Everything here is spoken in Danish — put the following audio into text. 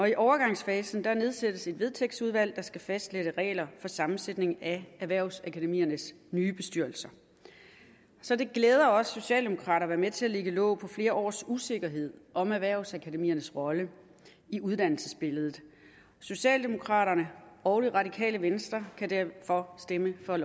i overgangsfasen nedsættes et vedtægtsudvalg der skal fastsætte regler for sammensætningen af erhvervsakademiernes nye bestyrelser så det glæder os socialdemokrater at være med til at lægge låg på flere års usikkerhed om erhvervsakademiernes rolle i uddannelsesbilledet socialdemokraterne og det radikale venstre kan derfor stemme for